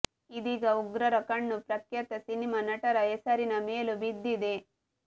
ಇದೀಗ ಉಗ್ರರ ಕಣ್ಣು ಪ್ರಖ್ಯಾತ ಸಿನಿಮಾ ನಟರ ಹೆಸರಿನ ಮೇಲೂ ಬಿದ್ದಿದೆ